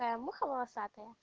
а я муха волосатая